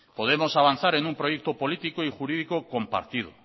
podemos avanzar en un proyecto político y jurídico compartido